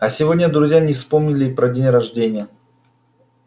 а сегодня друзья не вспомнили и про день рождения